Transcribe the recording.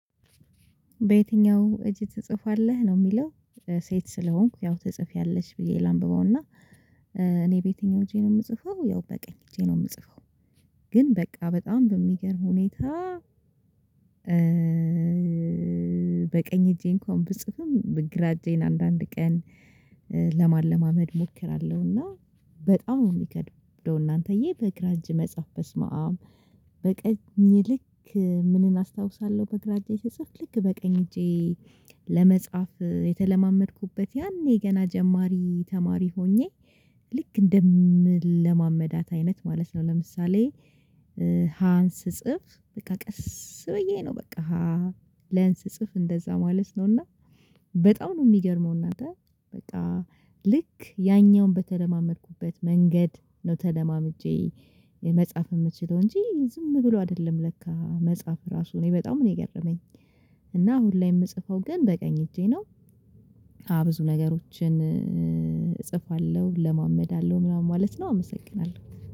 በየትኛው እጅ ትጽፋለህ ነው የሚለው? ሴት ስለሆንኩ ያው ተጽፌያለሽ ብዬ ላንብበውና እኔ በየትኛው እጄ ነው የምጽፈው ያው በቀኝ እጄ ነው የምጽፈው። ግን በቃ በጣም በሚገርም ሁኔታ በቀኝ እጄ እንኳን ብጽፍም በግራ እጄን አንዳንድ ቀን ለማለማመድ እሞክራለሁ። እና በጣም የሚከድብደው እናንተዬ በግራጄ መጽሐፍ በስመአብ። በቀኝ ልክ ምንን አስታውሳለሁ በግራ እጄ ልክ በቀኝ እጄ። ለመጻፍ የተለማመድኩበት ያኔ ገና ጀማሪ ተማሪ ሆኜ ልክ እንደምለማመዳት አይነት ማለት ነው። ለምሳሌ ሀንስ ጽፍ በቃ ቀስ ብዬ ነው። በቃ ለንስጽፍ እንደዛ ማለት ነው። እና በጣም ነው የሚገርመው እናንተ በቃ ልክ ያኛውን በተለማመድኩበት መንገድ ነው ተለማምጄ መጽሐፍ የምትችለው እንጂ ዝም ብሎ አይደለም ለካ መጽሐፍ ራሱ እኔ በጣም ነው የገረመኝ። እና አሁን ላይ የምጽፈው ግን በቀኝ እጄ ነው። ብዙ ነገሮችን እጽፋለሁ እለማመዳለሁ ምናምን ማለት ነው። አመሰግናለሁ